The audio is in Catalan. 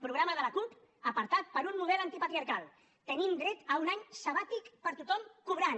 programa de la cup apartat per un model antipatriarcal tenim dret a un any sabàtic per a tothom cobrant